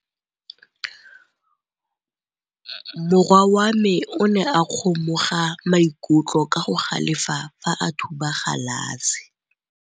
Morwa wa me o ne a kgomoga maikutlo ka go galefa fa a thuba galase.